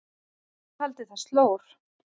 Hann taldi það slór.